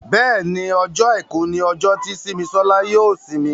Béèni Ọjọ́ aìkú ní ojo tí Simisola yóò isimi.